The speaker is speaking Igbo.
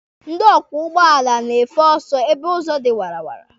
Ndị ọkwọ ụgbọala na-afe ọsọ ebe ụzọ dị wara wara.